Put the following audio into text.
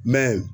Mɛ